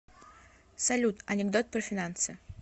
салют анекдот про финансы